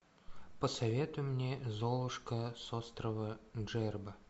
посоветуй мне золушка с острова джерба